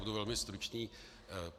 Budu velmi stručný.